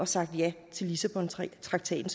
sagt ja til lissabontraktaten